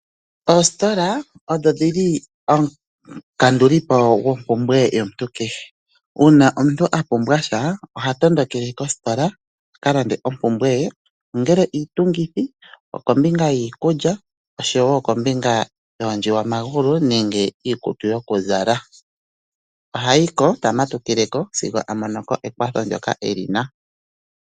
Ostola odho dhili omukandulipo goo mpumbwe yo muntu kehe uuna omuntu a pumbwasha oha tondokele kostola a kalande oompumbwe ye ongele iitungithi okombinga yiikulya oshowo kombinga yoondjiwa magulu nenge iikutu yo kuzala. ohayi ko tama tukileko sigo a monoko ekwatho ndyoka elina.